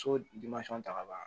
So ta ka bɔ a